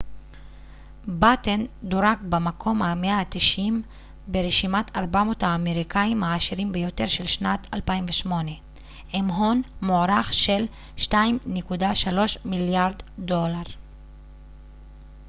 באתן דורג במקום ה-190 ברשימת 400 האמריקאיים העשירים ביותר של שנת 2008 עם הון מוערך של 2.3 מיליארד דולר